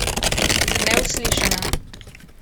Neuslišana!